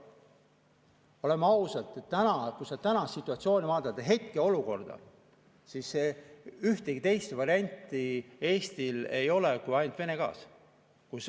Oleme ausad, kui tänast situatsiooni vaadata, hetkeolukorda, siis ühtegi teist varianti Eestil ei ole kui Vene gaas.